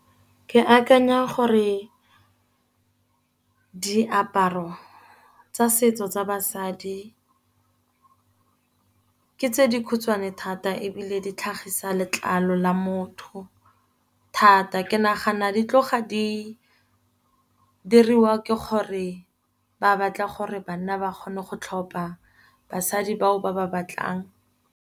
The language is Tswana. Ke akanya gore diaparo tsa setso tsa basadi ke tse dikhutshwane thata, ebile di tlhagisa letlalo la motho thata. Ke nagana di tloga di diriwa ke gore ba batla gore, banna ba kgone go tlhopa basadi bao ba ba batlang.